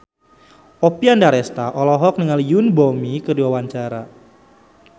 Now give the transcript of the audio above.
Oppie Andaresta olohok ningali Yoon Bomi keur diwawancara